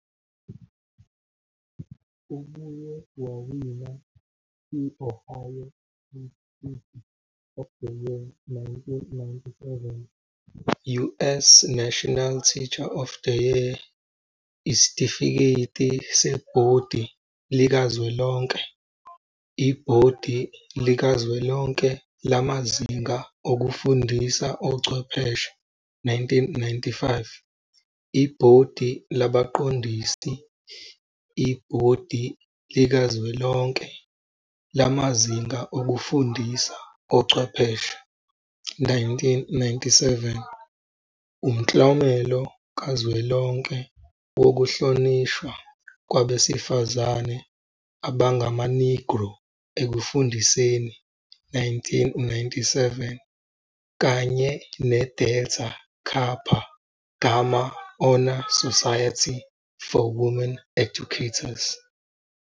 Ubuye wawina i-Ohio State Teacher of the Year, 1997, US National Teacher of the Year, 1997, Isitifiketi Sebhodi Likazwelonke, Ibhodi Likazwelonke Lamazinga Okufundisa Ochwepheshe, 1995, Ibhodi Labaqondisi, Ibhodi Likazwelonke Lamazinga Okufundisa Ochwepheshe, 1997, Umklomelo Kazwelonke Wokuhlonishwa Kwabesifazane AbangamaNegro Ekufundiseni, 1997, kanye ne-Delta Kapa Gamma Honor Society for Women Educators.